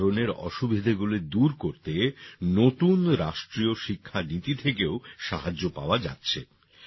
এই ধরণের অসুবিধেগুলি দূর করতে নতুন রাষ্ট্রীয় শিক্ষা নীতি থেকেও সাহায্য পাওয়া যাচ্ছে